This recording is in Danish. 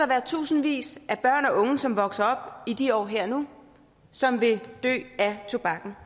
være tusindvis af børn og unge som vokser op i de år her nu som vil dø af tobakken